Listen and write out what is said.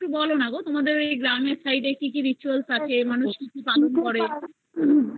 বোলো না গো তোমাদের গ্রামের side এ কি কি ritual থাকে মানুষ কি কি পালন করে